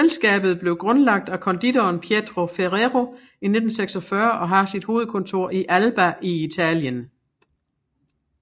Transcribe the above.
Selskabet blev grundlagt af konditoren Pietro Ferrero i 1946 og har sit hovedkontor i Alba i Italien